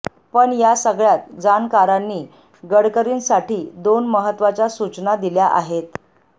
पण या सगळ्यात जाणकारांनी गडकरींसाठी दोन महत्त्वाच्या सूचना दिल्या आहेत